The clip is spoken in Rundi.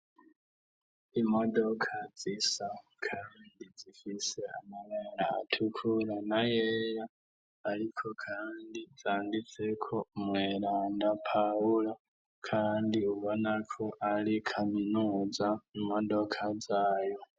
Imodoka zisakandi zifise amagara atukura na yeya, ariko, kandi zangitseko mweranda pahulo, kandi ubonako ari kaminuza imodoka zayo.